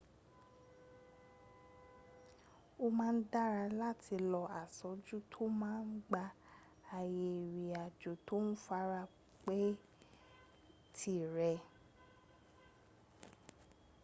ó má ń dára láti lo asojú tó má ń gba ààyè ìrìn àjò tó fara pẹ́ tìrẹ